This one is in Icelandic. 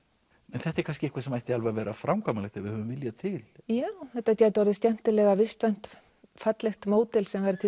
en þetta er kannski eitthvað sem ætti alveg að vera framkvæmanleg ef við höfum vilja til já þetta gæti orðið skemmtilega vistvænt fallegt módel sem væri til